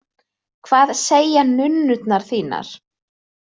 Hvað segja nunnurnar þínar?